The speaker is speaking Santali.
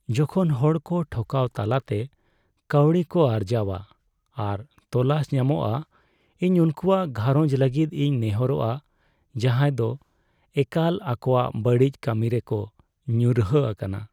ᱡᱚᱠᱷᱚᱱ ᱦᱚᱲᱠᱚ ᱴᱷᱚᱠᱟᱣ ᱛᱟᱞᱟᱛᱮ ᱠᱟᱹᱣᱰᱤ ᱠᱚ ᱟᱨᱡᱟᱣᱟ ᱟᱨ ᱛᱚᱞᱟᱥ ᱧᱟᱢᱚᱜᱼᱟ, ᱤᱧ ᱩᱱᱠᱩᱣᱟᱜ ᱜᱷᱟᱸᱨᱚᱡᱽ ᱞᱟᱹᱜᱤᱫ ᱤᱧ ᱱᱮᱦᱚᱨᱚᱜᱼᱟ ᱡᱟᱦᱟᱭ ᱫᱚ ᱮᱠᱟᱞ ᱟᱠᱚᱣᱟᱜ ᱵᱟᱹᱲᱤᱡ ᱠᱟᱹᱢᱤᱨᱮᱠᱚ ᱧᱩᱨᱦᱟᱹ ᱟᱠᱟᱱᱟ ᱾